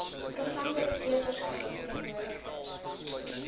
programdirekteur verskeie verteenwoordigers